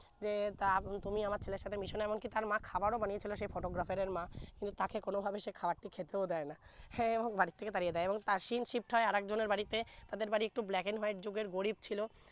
রে তা তুমি আমার ছেলের সাথে মিশো না এমন কি তার মা খাবার ও বানিয়েছিলো সে photograph এর মা তাকে কোন ভাবে খাওয়ার টি খেতেও দেয় না হ্যাঁ ও বাড়ি থেকে তারিয়ে দেয় এবং asim shift হয় আরেক জন এর বাড়িতে তাদের বাড়ি একটু black and white যুগের গরিব ছিলো